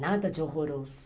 Nada de horroroso.